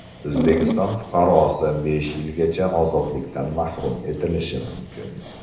O‘zbekiston fuqarosi besh yilgacha ozodlikdan mahrum etilishi mumkin.